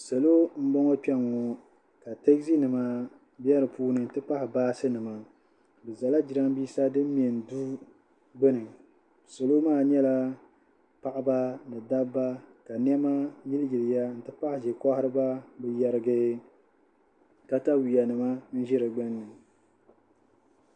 Salo m-bɔŋɔ kpɛŋɔ ka tazinima be di puuni nti pahi baasinima bɛ zala jirambiisa din mɛ du gbuni Salo maa nyɛla paɣiba ni dabba ka nɛma yiliyiliya nti pahi ʒekohiriba bɛ yarigi katayuyanima n-ʒi di gbunni